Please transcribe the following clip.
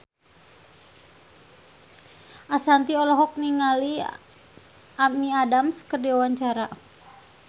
Ashanti olohok ningali Amy Adams keur diwawancara